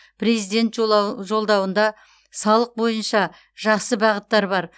президент жолдауында салық бойынша жақсы бағыттар бар